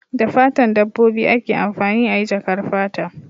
Da fatan dabbobi ake amfani ayi jakar fata